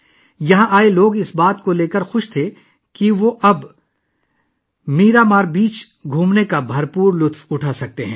یہاں آنے والے لوگ اس حقیقت کے بارے میں بہت پرجوش تھے کہ اب وہ 'میرامار بیچ' کا بھرپور لطف اٹھا سکتے ہیں